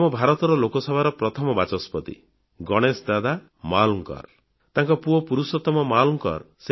ଆମ ଭାରତର ଲୋକସଭାର ପ୍ରଥମ ବାଚସ୍ପତି ଗଣେଶ ଦାଦା ମାୱଲଙ୍କର ତାଙ୍କ ପୁଅ ପୁରୁଷୋତ୍ତମ ମାୱଲଙ୍କର